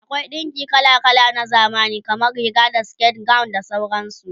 akwai ɗinki kala kala na zamani, kamar Riga da siket, gawon da sauransu